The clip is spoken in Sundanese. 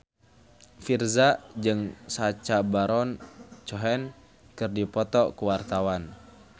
Virzha jeung Sacha Baron Cohen keur dipoto ku wartawan